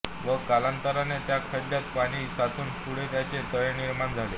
व कालांतराने त्या खड्यात पाणी साचून पुढे त्याचे तळे निर्माण झाले